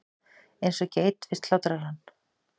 Eins og geit við slátrarann.